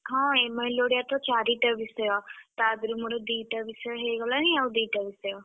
ହଁ MIL ଓଡିଆ ତ ଚାରିଟା ବିଷୟ। ତାଧିରୁ ମୋର ଦିଟା ବିଷୟ ହେଇଗଲାଣି ଆଉ ଦିଟା ବିଷୟ।